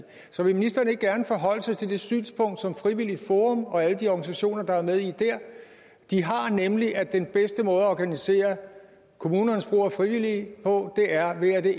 så vil ministeren ikke gerne forholde sig til det synspunkt som frivilligt forum og alle de organisationer der er med i det har nemlig at den bedste måde at organisere kommunernes brug af frivillige på er ved at det